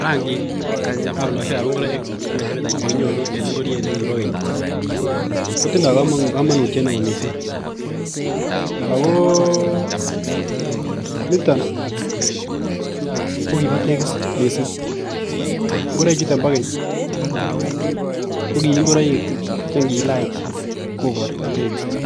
?rangik ab ingoroik AK metametaishek chekinyoru en ingoriet nekibo Keny kotinye kamanut neo mising ako niton kokibo tegis mising ngoroik chuton chebo Keny kokingoroik chengilach kobarto tekisto